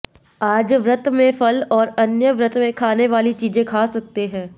आज व्रत में फल और अन्य व्रत में खाने वाली चीजें खा सकते है